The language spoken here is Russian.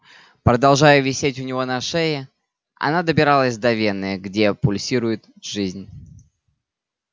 продолжая висеть у него на шее она добиралась до вены где пульсирует жизнь